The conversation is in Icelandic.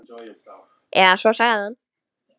Eða svo sagði hann.